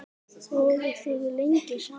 Voruð þið lengi saman?